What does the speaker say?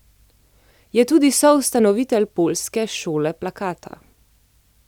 Je tudi soustanovitelj poljske šole plakata.